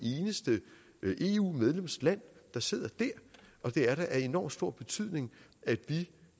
eneste eu medlemsland der sidder der og det er da af enorm stor betydning at vi